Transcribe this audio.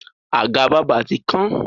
Àga bábà ti kán.